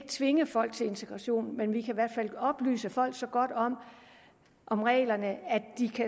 tvinge folk til integration men vi kan i hvert fald oplyse folk så godt om reglerne at de